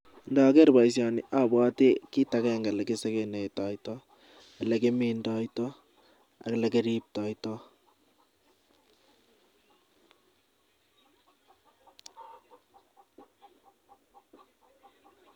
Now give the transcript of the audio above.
Ndageer boisioni abwati kiit agenge ne kisekenetoito, ole kimindoitoi ak ole kiriptoitoi.